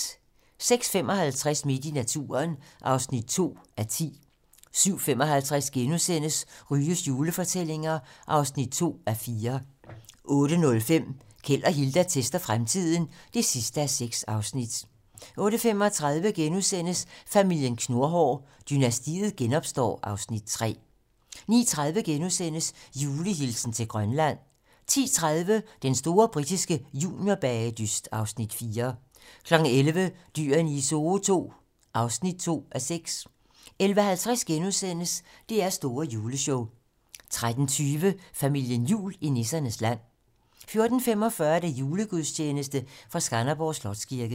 06:55: Midt i naturen (2:10) 07:55: Ryges julefortællinger (2:4)* 08:05: Keld og Hilda tester fremtiden (6:6) 08:35: Familien Knurhår: Dynastiet genopstår (Afs. 3)* 09:30: Julehilsen til Grønland * 10:30: Den store britiske juniorbagedyst (Afs. 4) 11:00: Dyrene i Zoo II (2:6) 11:50: DR's store juleshow * 13:20: Familien Jul i nissernes land 14:45: Julegudstjeneste fra Skanderborg Slotskirke